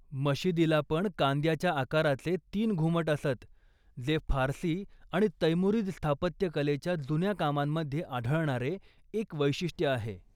मशिदीलापण कांद्याच्या आकाराचे तीन घुमट असत, जे फारसी आणि तैमुरीद स्थापत्यकलेच्या जुन्या कामांमध्ये आढळणारे एक वैशिष्ट्य आहे.